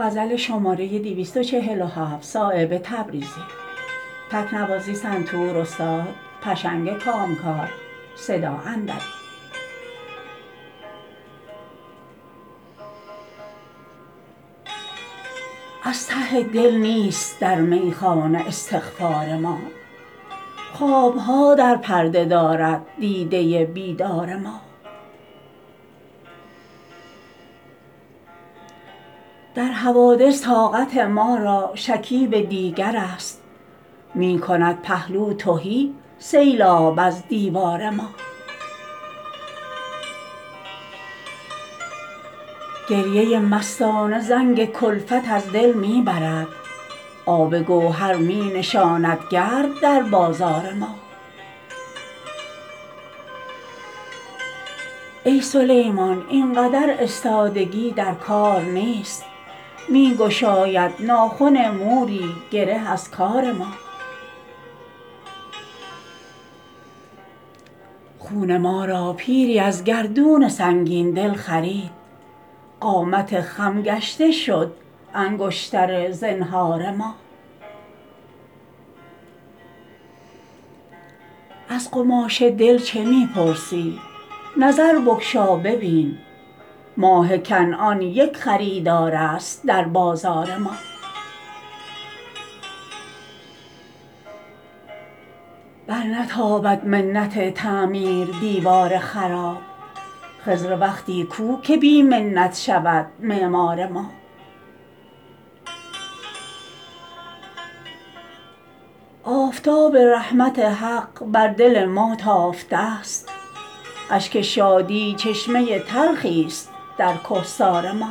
از ته دل نیست در میخانه استغفار ما خوابها در پرده دارد دیده بیدار ما در حوادث طاقت ما را شکیب دیگرست می کند پهلو تهی سیلاب از دیوار ما گریه مستانه زنگ کلفت از دل می برد آب گوهر می نشاند گرد در بازار ما ای سلیمان اینقدر استادگی در کار نیست می گشاید ناخن موری گره از کار ما خون ما را پیری از گردون سنگین دل خرید قامت خم گشته شد انگشتر زنهار ما از قماش دل چه می پرسی نظر بگشا ببین ماه کنعان یک خریدار است در بازار ما برنتابد منت تعمیر دیوار خراب خضر وقتی کو که بی منت شود معمار ما آفتاب رحمت حق بر دل ما تافته است اشک شادی چشمه تلخی است در کهسار ما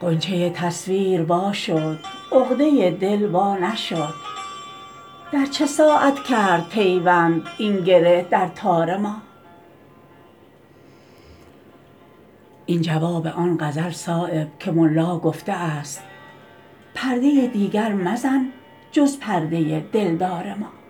غنچه تصویر وا شد عقده دل وا نشد در چه ساعت کرد پیوند این گره در تار ما این جواب آن غزل صایب که ملا گفته است پرده دیگر مزن جز پرده دلدار ما